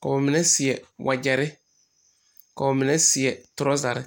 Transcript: ka ba mine seɛ wagyɛre ka ba mine seɛ torazari.